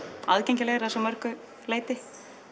aðgengilegri að svo mörgum leyti